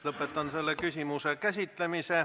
Lõpetan selle küsimuse käsitlemise.